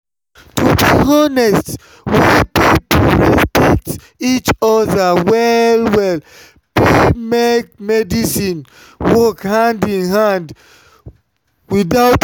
to be honest when people respect each other well-well faith and medicine fit work hand in hand without wahala.